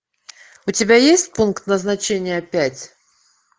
у тебя есть пункт назначения пять